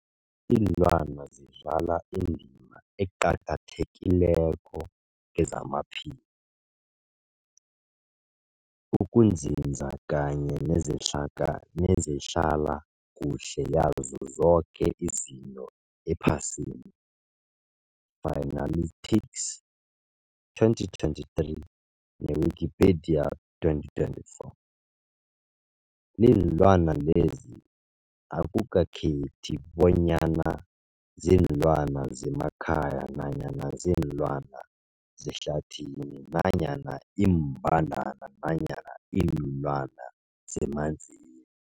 Ilwana zidlala indima eqakathekileko kezamaphilo, ukunzinza kanye nezehlaka nezehlala kuhle yazo zoke izinto ephasini, Fuanalytics 2023, ne-Wikipedia 2024. Iinlwana lezi akukhethi bonyana ziinlwana zemakhaya nanyana kuziinlwana zehlathini nanyana iimbandana nanyana iinlwana zemanzini.